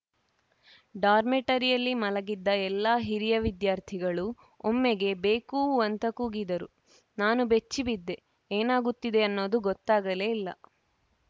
ಡಾರ್ಮೆಟರಿಯಲ್ಲಿ ಮಲಗಿದ್ದ ಎಲ್ಲಾ ಹಿರಿಯ ವಿದ್ಯಾರ್ಥಿಗಳೂ ಒಮ್ಮೆಗೆ ಬೇಕೂ ಅಂತ ಕೂಗಿದರು ನಾನು ಬೆಚ್ಚಿ ಬಿದ್ದೆ ಏನಾಗುತ್ತಿದೆ ಅನ್ನೋದು ಗೊತ್ತಾಗಲೇ ಇಲ್ಲ